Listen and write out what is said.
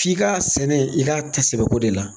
F'i ka sɛnɛ i ka ta sɛbɛko de la.